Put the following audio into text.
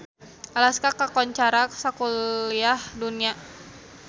Alaska kakoncara sakuliah dunya